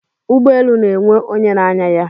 Ụgbọelu na-enwe onye na-anya ya.